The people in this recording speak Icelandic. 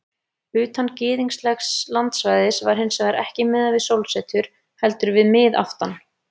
Utan gyðinglegs landsvæðis var hins vegar ekki miðað við sólsetur heldur við miðaftan.